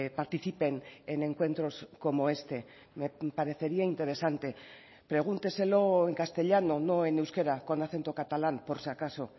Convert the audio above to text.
participen en encuentros como este me parecería interesante pregúnteselo en castellano no en euskera con acento catalán por si acaso